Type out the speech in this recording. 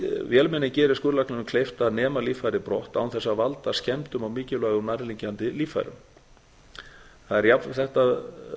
vélmennið gerir skurðlækninum kleift að nema líffærið á brott án þess að valda skemmdum á mikilvægum nærliggjandi líffærum þetta